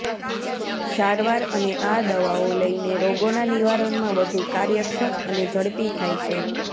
સારવાર અને આ દવાઓ લઈને રોગોના નિવારણમાં વધુ કાર્યક્ષમ અને ઝડપી થાય છે